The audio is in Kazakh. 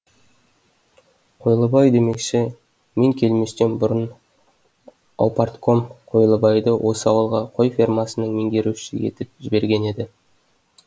қойлыбай демекші мен келместен бұрын аупартком қойлыбайды осы ауылға қой фермасының меңгерушісі етіп жіберген еді